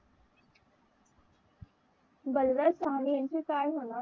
बलराज सहानी यांचे काय म्हणाल